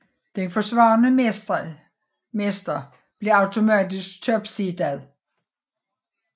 Den forsvarende mestre bliver automatisk topseedet